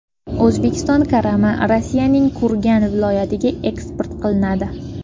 O‘zbekiston karami Rossiyaning Kurgan viloyatiga eksport qilinadi.